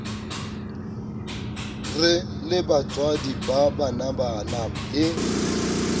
re lebatswadi ba banabana le